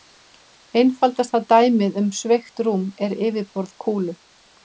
Einfaldasta dæmið um sveigt rúm er yfirborð kúlu.